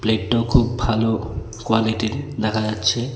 এটা খুব ভালো কোয়ালিটির দেখা যাচ্ছে।